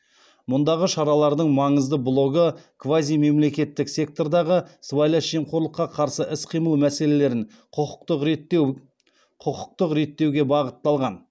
мұндағы шаралардың маңызды блогы квазимемлекеттік сектордағы сыбайлас жемқорлыққа қарсы іс қимыл мәселелерін құқықтық реттеуге бағытталған